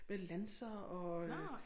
Med lanser og øh